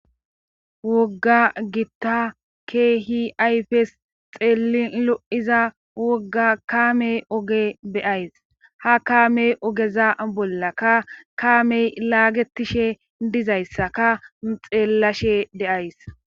wogga gitta keehi ayfes xeelin lo7iza wogga kaamey oge beyays ha kaamey ogeza bolla ka kaamey laagetishe dizayssaka xeellashe deays